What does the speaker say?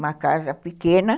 Uma casa pequena.